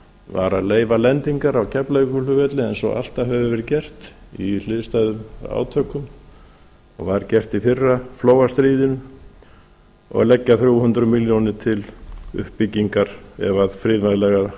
var að leyfa lendingar á keflavíkurflugvelli eins og alltaf hefur verið gert í hliðstæðum átökum og var gert í fyrra flóastríðinu og leggja þrjú hundruð milljónir til uppbyggingar ef friðvænlegar